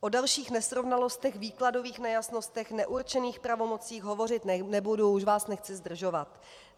O dalších nesrovnalostech, výkladových nejasnostech, neurčených pravomocích hovořit nebudu, už vás nechci zdržovat.